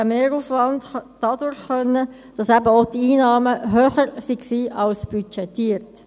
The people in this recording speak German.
Der Mehraufwand konnte dadurch kompensiert werden, dass eben auch die Einnahmen höher waren als budgetiert.